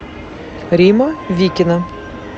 римма викина